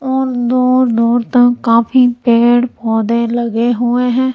और दूर दूर तक काफी पेड़ पौधे लगे हुए हैं।